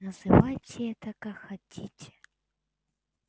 называйте это как хотите